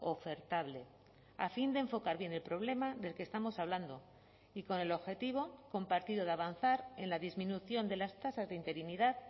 ofertable a fin de enfocar bien el problema del que estamos hablando y con el objetivo compartido de avanzar en la disminución de las tasas de interinidad